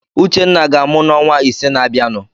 Uchenna ga-amụ n'ọnwa ise na-abịanụ.